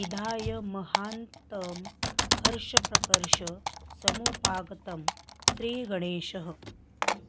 विधाय महान्तं हर्षप्रकर्ष समुपागमत् श्रीगङ्गेशः